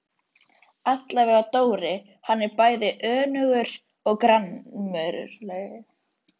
Allavega Dóri, hann er bæði önugur og gramur.